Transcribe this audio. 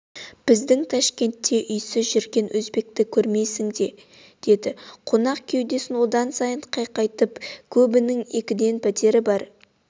біздің ташкентте үйсіз жүрген өзбекті көрмейсің деді қонақ кеудесін одан сайын қайқайтып көбінің екіден пәтер бар